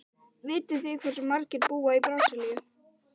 Vitið þið hversu margir búa í Brasilíu?